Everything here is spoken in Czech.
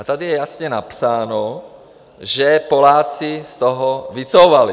A tady je jasně napsáno, že Poláci z toho vycouvali.